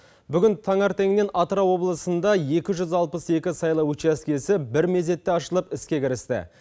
бүгін таңертеңнен атырау облысында екі жүз алпыс екі сайлау учаскесі бір мезетте ашылып іске кірісті